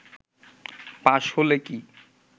পাশ হলে কি